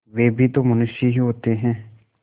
वे भी तो मनुष्य ही होते हैं